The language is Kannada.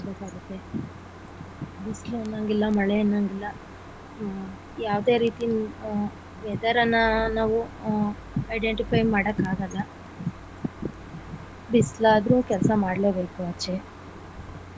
ಬಿಸಿಲು ಅನ್ನೋಗಿಲ್ಲ ಮಳೆ ಅನ್ನೋಗಿಲ್ಲ ಹು ಯಾವದೇ ರೀತಿ ಹ weather ಅನ್ನಾ ನಾವು identify ಮಾಡೋಕ್ ಆಗಲ್ಲ ಬಿಸಿಲಾದರೂ ಕೆಲಸ ಮಾಡಲೇ ಬೇಕು ಆಚೆ .